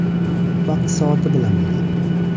Vaqt-soati bilan bo‘ladi.